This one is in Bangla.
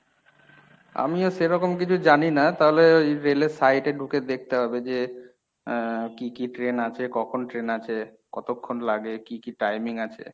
আমিও সেরকম কিছু জানিনা তাহলে ওই রেলের site এ ঢুকে দেখতে হবে যে আহ কী কী train আছে কখন train আছে কতক্ষন লাগে কী কী timing আছে?